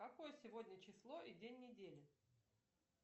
какое сегодня число и день недели